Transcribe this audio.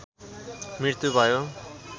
मृत्यु भयो।